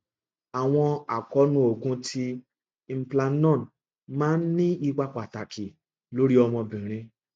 awọn akoonu oogun ti implanon maa n ni ipa pataki lori ọmọbinrin